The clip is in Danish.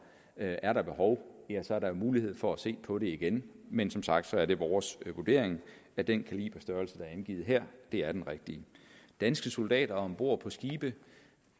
er der behov så er der mulighed for at se på det igen men som sagt er det vores vurdering at den kaliberstørrelse der er angivet her er den rigtige danske soldater om bord på skibe